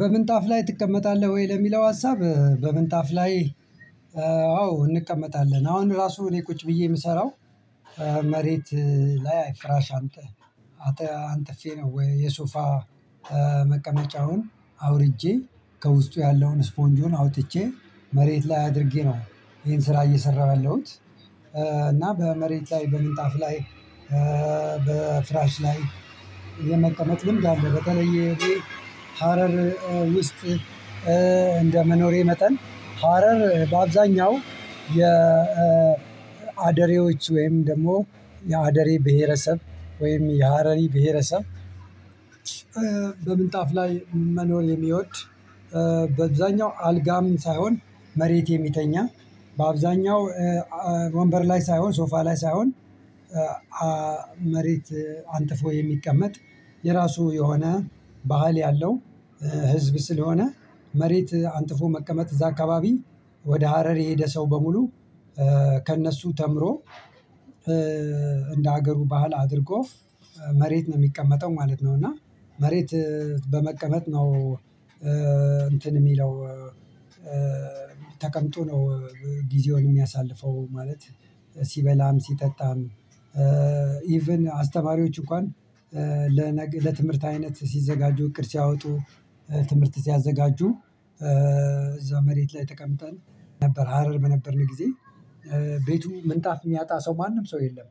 በምንጣፍ ላይ ትቀመጣለህ ወይ? ለሚለው ሀሳብ በምንጣፍ ላይ አዎ እንቀመጣለን አሁን ራሱ እኔ ቁጭ ብዬ ምሰራው መሬት ላይ ፍራሽ አንጥ አንጥፌ ነው። የሶፋ መቀመጫውን አውርጄ ከውስጡ ያለውን ስፖንጁን አውጥቼ መሬት ላይ አድርጌ ነው ይሄን ስራ እየሰራሁ ያለሁት። እና በመሬት ላይ በምንጣፍ ላይ በፍራሽ ላይ የመቀመጥ ልምድ አለው በተለየ ሀረር ውስጥ እንደ መኖሬ መጠን ሀረር በአብዛኛው የ ወይም ደግሞ የአደሬ ብሄረሰብ ወይም የሀረሪ ብሄረሰብ። በምንጣፍ ላይ መኖር የሚወድ በዛኛው አልጋም ሳይሆን መሬት የሚተኛ በአብዛኛው ወንበር ላይ ሳይሆን ሶፋ ላይ ሳይሆን መሬት አንጥፎ የሚቀመጥ። የራሱ የሆነ ባህል ያለው ህዝብ ስለሆነ መሬት አንጥፎ መቀመጥ እዛ አካባቢ ወደ ሀረር የሄደ ሰው በሙሉ ከእነሱ ተምሮ እንደ ሀገሩ ባህል አድርጎ መሬት ነው ሚቀመጠው ማለት ነው። እና መሬት በመቀመጥ ነው እንትን ሚለው ተቀምጦ ነው ጊዜውን ሚያሳልፈው ማለት ሲበላም ሲጠጣም ኢቭን አስተማሪዎች እንኳን ለትምህርት አይነት ሲዘጋጁ እቅድ ሲያወጡ ትምህርት ሲያዘጋጁ እዛ መሬት ላይ ተቀምጠን ነበር ሀረር በነበርን ጊዜ። ቤቱ ምንጣፍ ሚያጣ ሰው ማንም ሰው የለም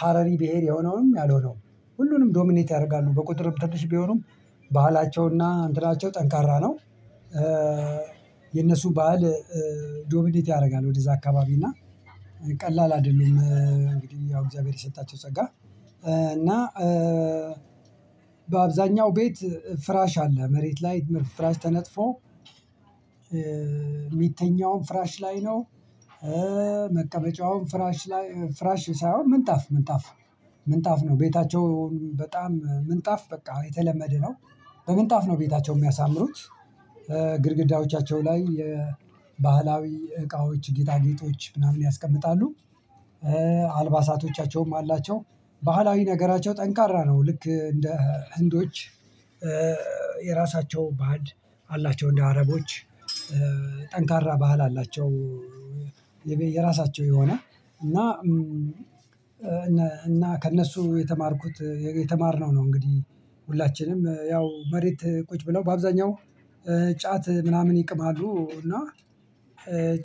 ሀረሪ ብሄር የሆነውም ያልሆነውም ሁሉንም ዶሚኔት ያደርጋሉ በቁጥር ትንሽ ቢሆኑም ባህላቸውና እንትናቸው ጠንካራ ነው። የነሱ ባህል ዶሚኔት ያደርጋል ወደዛ አካባቢ እና ቀላል አይደሉም። እንግዲህ ያው እግዚአብሔር የሰጣቸው ጸጋ እና በአብዛኛው ቤት ፍራሽ አለ መሬት ላይ ፍራሽ ተነጥፎ የሚተኛውም ፍራሽ ላይ ነው። መቀበጫውም ፍራሽ ላይ ፍራሽ ሳይሆን ምንጣፍ ምንጣፍ ምንጣፍ ነው ቤታቸው በጣም ምንጣፍ በቃ የተለመደ ነው። በምንጣፍ ነው ቤታቸው ሚያሳምሩት ግድግዳዎቻቸው ላይ የባህላዊ እቃዎች ጌጣጌጦች ምናምን ያስቀምጣሉ። አልባሳቶቻቸውም አላቸው ባህላዊ ነገራቸው ጠንካራ ነው ልክ እንደ ህንዶች የራሳቸው ባዕድ አላቸው እንደ አረቦች ጠንካራ ባህል አላቸው። የራሳቸው የሆነ እና እና ከእነሱ የተማርኩት የተማርነው ነው እንግዲህ ሁላችንም ያው መሬት ቁጭ ብለው በአብዛኛው ጫት ምናምን ይቅማሉ እና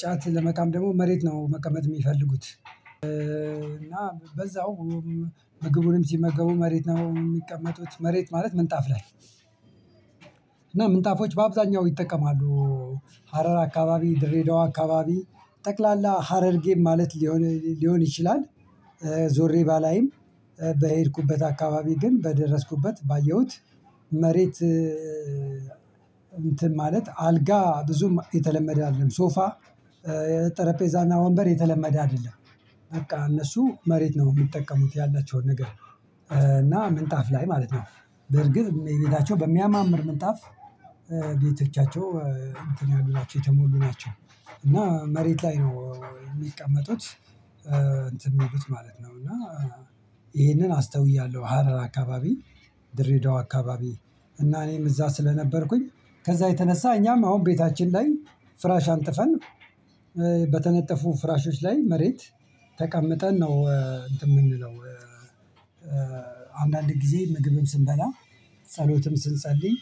ጫት ለመቃም ደግሞ መሬት ነው መቀመጥ የሚፈልጉት። እና በዛውም ምግቡንም ሲመገቡ መሬት ነው የሚቀመጡት መሬት ማለት ምንጣፍ ላይ እና ምንጣፎች በአብዛኛው ይጠቀማሉ ሀረር አካባቢ ድሬዳዋ አካባቢ ጠቅላላ ሀረርጌም ማለት ሊሆን ሊሆን ይችላል። ዞሬ ባላይም በሄድኩበት አካባቢ ግን በደረስኩበት ባየሁት መሬት እንትን ማለት አልጋ ብዙም የተለመደ አይደለም ሶፋ የጠረጴዛና ወንበር የተለመደ አይደለም። በቃ እነሱ መሬት ነው ሚጠቀሙት ያላቸውን ነገር እና ምንጣፍ ላይ ማለት ነው በርግጥ ቤታቸው በሚያማምር ምንጣፍ ቤተቻቸው እንትን ያሉ ናቸው የተሞሉ ናቸው እና መሬት ላይ ነው ሚቀመጡት። እንትን የሚሉት ማለት ነው እና ይሄንን አስተውያለሁ ሀረር አካባቢ ድሬዳዋ አካባቢ እና እኔም እዛ ስለነበርኩኝ ከዛ የተነሳ እኛም አሁን ቤታችን ላይ ፍራሽ አንጥፈን በተነጠፉ ፍራሾች ላይ መሬት ተቀምጠን ነው እንትን ምንለው። አንዳንድ ጊዜ ምግብን ስንበላ ጸሎትም ስንጸልይ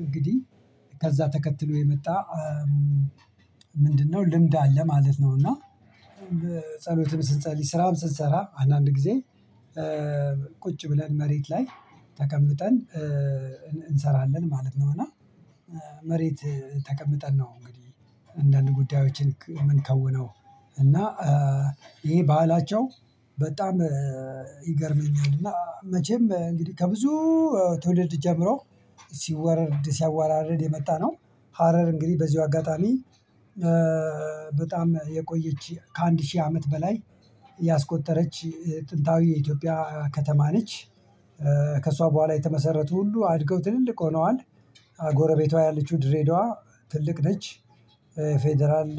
እንግዲህ ከዛ ተከትሎ የመጣ ምንድነው ልምድ አለ ማለት ነው። እና ጸሎትን ስንጸልይ ስራን ስንሰራ አንዳንድ ጊዜ ቁጭ ብለን መሬት ላይ ተቀምጠን እንሰራለን ማለት ነው። እና መሬት ተቀምጠን ነው እንግዲህ አንዳንድ ጉዳዮችን የምንከውነው እና ይሄ ባህላቸው በጣም ይገርመኛል። እና መቼም እንግዲህ ከብዙ ትውልድ ጀምሮ ሲወርድ ሲያወራርድ የመጣነው ሀረር እንግዲህ በዚሁ አጋጣሚ በጣም የቆየች ከአንድ ሺህ አመት በላይ ያስቆጠረች ጥንታዊ የኢትዮጵያ ከተማ ነች። ከእሷ በኋላ የተመሰረቱ ሁሉ አድገው ትልልቅ ሆነዋል። ጎረቤቷ ያለችው ድሬዳዋ ትልቅ ነች ፌደራል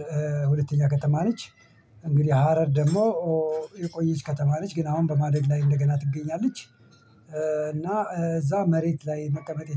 ሁለተኛ ከተማ ነች። እንግዲህ ሀረር ደግሞ የቆየች ከተማ ነች ግን አሁን በማደግ ላይ እንደገና ትገኛለች። እና እዛ መሬት ላይ መቀመጤ